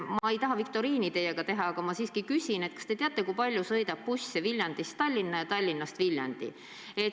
Ma ei taha teile viktoriini teha, aga ma siiski küsin, kas te teate, kui palju sõidab busse Viljandist Tallinna ja Tallinnast Viljandi.